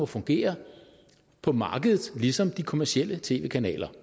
fungere på markedet ligesom de kommercielle tv kanaler